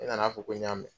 Ne nana fɔ ko n y'a mɛn